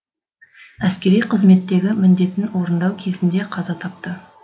әскери қызметтегі міндетін орындау кезінде қаза тапты